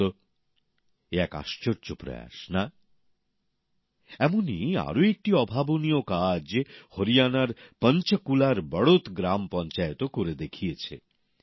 বলুন তো এ এক আশ্চর্য প্রয়াস না এমনই আরেকটি অভাবনীয় কাজ হরিয়ানার পঞ্চকুলার বড়োত গ্রাম পঞ্চায়েতও করে দেখিয়েছে